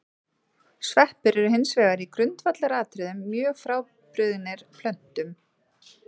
Sveppir eru hins vegar í grundvallaratriðum mjög frábrugðnir plöntum.